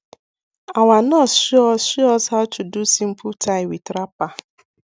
our nurse show us show us how to do simple tie with wrapper